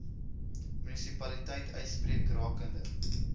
munisipaliteit uitspreek rakende